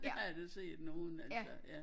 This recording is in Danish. Det har jeg da set nogen af de der ja